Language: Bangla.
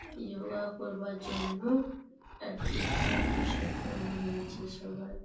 যোগা করবার জন্য এডমিন এডমিশন করানো হয়েছে সবার।